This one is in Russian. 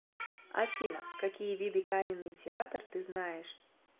афина какие виды каменный театр ты знаешь